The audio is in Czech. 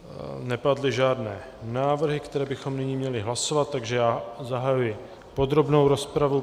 Nepadly žádné návrhy, které bychom nyní měli hlasovat, takže já zahajuji podrobnou rozpravu.